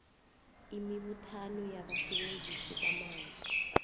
imibuthano yabasebenzisi bamanzi